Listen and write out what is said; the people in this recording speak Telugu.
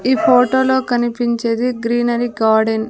ఈ ఫోటోలో కనిపించేది గ్రీనరీ గార్డెన్ .